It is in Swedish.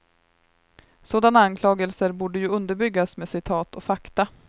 Sådana anklagelser borde ju underbyggas med citat och fakta.